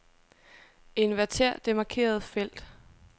Inverter det markerede felt.